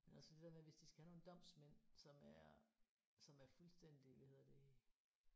Men også det der med hvis de skal have nogle domsmænd som er som er fuldstændig hvad hedder det